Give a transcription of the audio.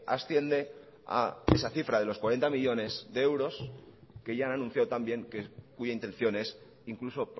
asciende a esa cifra de los cuarenta millónes de euros que ya han anunciado también que cuya intención es incluso